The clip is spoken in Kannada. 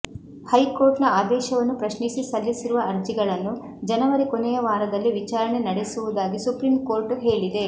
ಹೈಕೋರ್ಟ್ ನ ಆದೇಶವನ್ನು ಪ್ರಶ್ನಿಸಿ ಸಲ್ಲಿಸಿರುವ ಅರ್ಜಿಗಳನ್ನು ಜನವರಿ ಕೊನೆಯ ವಾರದಲ್ಲಿ ವಿಚಾರಣೆ ನಡೆಸುವುದಾಗಿ ಸುಪ್ರೀಂ ಕೋರ್ಟ್ ಹೇಳಿದೆ